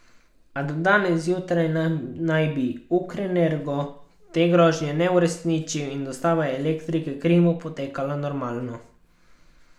A do danes zjutraj naj bi Ukrenergo te grožnje ne uresničil in dostava elektrike Krimu poteka normalno.